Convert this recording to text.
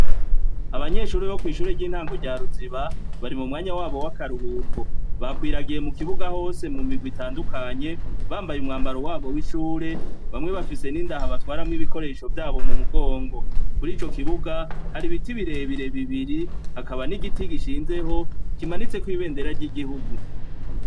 Abanyeshure bo kwishure ryintango rya ruziba bari mumwanya wabo wakaruhuko bakwiragiye mukibuga hose mu mirwi itandukanye bambaye umwambaro wabo wishure bamwe bafise nindaho batwaramwo ibikoresho vyabo mumugongo murico kibuga hari ibiti birebire bibiri hakaba nigiti gishizeho kimanitseho ibendera ryigihugu